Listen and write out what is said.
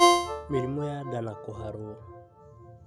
Mĩrimũ ya nda na kũharwo